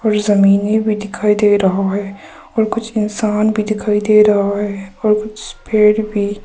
जमीने भी दिखाई दे रहा है और कुछ इंसान भी दिखाई दे रहा है और कुछ पेड़ भी।